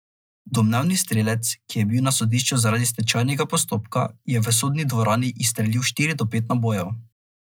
Domnevni strelec, ki je bil na sodišču zaradi stečajnega postopka, je v sodni dvorani izstrelil štiri do pet nabojev.